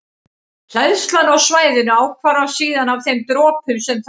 Hleðslan á svæðinu ákvarðast síðan af þeim dropum sem þar eru.